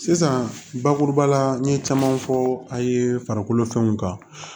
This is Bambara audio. Sisan bakuruba la n ye caman fɔ a ye farikolo fɛnw kan